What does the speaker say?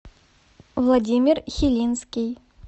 владимир хелинский